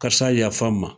Karisa yafa n ma